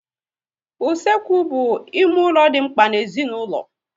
Usekwu bụ ime ụlọ dị mkpa n'ezinaulo